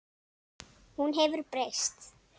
Hún hefur breyst.